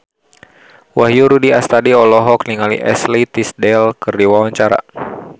Wahyu Rudi Astadi olohok ningali Ashley Tisdale keur diwawancara